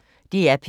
DR P1